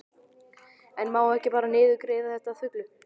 En má ekki bara niðurgreiða þetta að fullu?